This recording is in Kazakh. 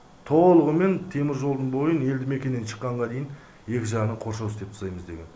толығымен теміржолдың бойын елді мекеннен шыққанға дейін екі жағынан қоршау істептсаймыз деген